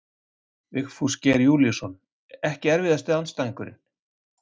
Vigfús Geir Júlíusson Ekki erfiðasti andstæðingur?